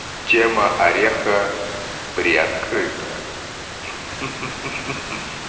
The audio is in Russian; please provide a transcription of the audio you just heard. тема ореха приоткрыта ха-ха-ха